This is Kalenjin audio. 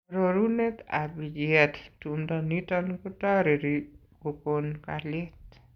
Arorunet ab bicheet , tumdo niton kotoreri kokon kalyet.